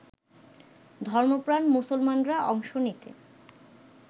ধর্মপ্রাণ মুসলমানরা অংশ নিতে